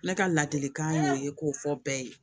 Ne ka ladilikan y'o ye k'o fɔ bɛɛ ye